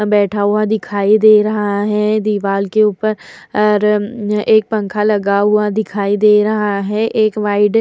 बैठा हुआ दिखाई दे रहा है दीवाल के ऊपर अर म-म एक पंखा लगा हुआ दिखाई दे रहा है एक वाइड --